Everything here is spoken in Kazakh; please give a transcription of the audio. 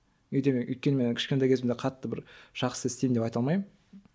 өйткені мен кішкентай кезімде қатты бір жақсы істеймін деп айта алмаймын